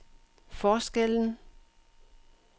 forskellen